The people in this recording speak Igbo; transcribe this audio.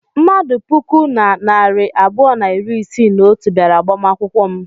Mmadụ puku na narị abụọ na iri isii na otu bịara agbamakwụkwọ m.